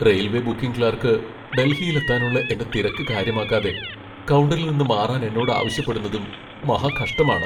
Railway booking clerk ഡൽഹിയിലെത്താനുള്ള എന്റെ തിരക്ക് കാര്യമാക്കാതെ കൗണ്ടറിൽ നിന്ന് മാറാൻ എന്നോട് ആവശ്യപ്പെടുന്നതും മഹാകഷ്ടമാണ്.